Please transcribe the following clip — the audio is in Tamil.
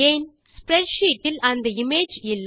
ஸ்ப்ரெட்ஷீட் இல் அந்த இமேஜ் இல்லை